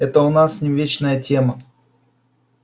это у нас с ним вечная тема